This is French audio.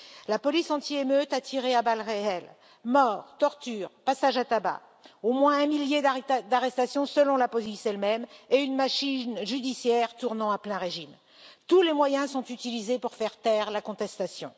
La police anti émeute a tiré à balles réelles. Morts, tortures, passages à tabac, au moins un millier d'arrestations selon la police elle même et une machine judiciaire tournant à plein régime tous les moyens sont utilisés pour faire taire la contestation.